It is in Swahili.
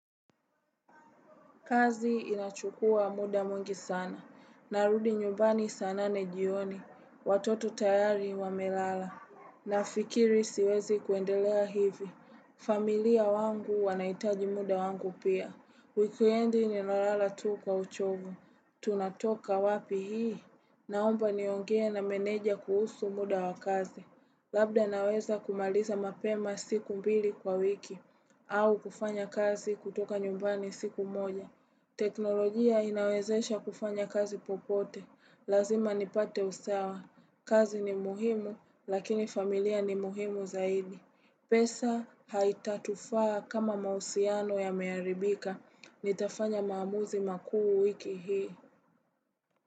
Kazi inachukua muda mwngi sana. Narudi nyumbani sana nane jioni. Watoto tayari wamelala. Na fikiri siwezi kuendelea hivi. Familia wangu wanaitaji muda wangu pia. Wikendi ni na lala tu kwa uchovu. Tunatoka wapi hii. Naomba niongee na meneja kuhusu muda wa kazi. Labda naweza kumaliza mapema siku mbili kwa wiki. Au kufanya kazi kutoka nyumbani siku moja. Teknolojia inawezesha kufanya kazi popote. Lazima nipate usawa. Kazi ni muhimu, lakini familia ni muhimu zaidi. Pesa haitatufaa kama mausiano ya meharibika. Nitafanya maamuzi makuu wiki hii.